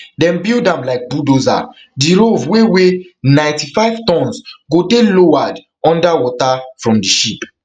dem build am like bulldozer di rov wey weigh ninety-five tonnes go dey lowered under water from di ship